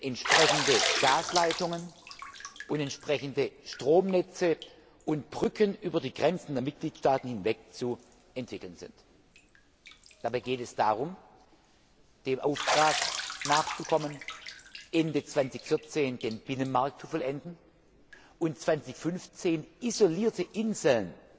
entsprechende Gasleitungen und entsprechende Stromnetze und Brücken über die Grenzen der Mitgliedstaaten hinweg zu entwickeln sind. Dabei geht es darum, dem Auftrag nachzukommen, Ende 2014 den Binnenmarkt zu vollenden und 2015 isolierte Inseln